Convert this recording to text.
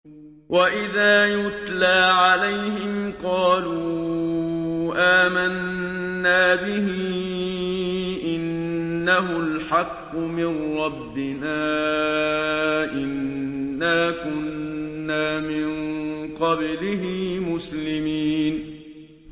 وَإِذَا يُتْلَىٰ عَلَيْهِمْ قَالُوا آمَنَّا بِهِ إِنَّهُ الْحَقُّ مِن رَّبِّنَا إِنَّا كُنَّا مِن قَبْلِهِ مُسْلِمِينَ